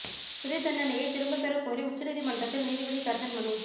சிறை தண்டனையை திரும்பப் பெற கோரி உச்ச நீதிமன்றத்தில் நீதிபதி கர்ணன் மனு